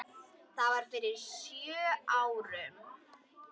Það var fyrir sjö árum.